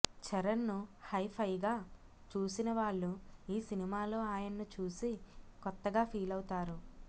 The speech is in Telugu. చరణ్ను హైఫైగా చూసిన వాళ్లు ఈ సినిమాలో ఆయన్ను చూసి కొత్తగా ఫీలవుతారు